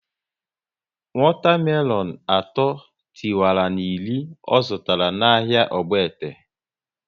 Wata melonu atọ tiwara na iri ọ zụtara na ahịa Ogbete